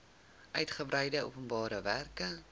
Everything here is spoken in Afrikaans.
uitgebreide openbare werke